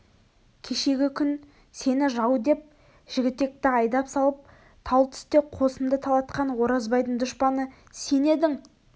кешегі күн сені жау деп жігітекті айдап салып тал түсте қосынды талатқан оразбайдың дұшпаны сен едің